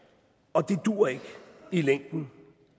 og det duer ikke i længden